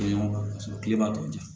Paseke kilema tɔw di